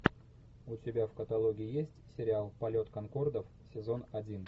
у тебя в каталоге есть сериал полет конкордов сезон один